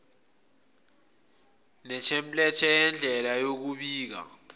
netemplethe yendlela yokubika